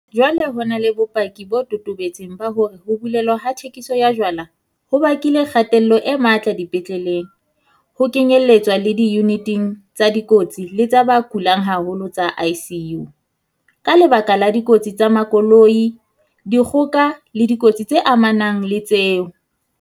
Jwale ho na le bopaki bo totobetseng ba hore ho bulelwa ha thekiso ya jwala ho bakile kgatello e matla dipetleleng, ho kenyeletswa le diyuniting tsa dikotsi le tsa ba kulang haholo tsa ICU, ka lebaka la dikotsi tsa makoloi, dikgoka le dikotsi tse amanang le tseo.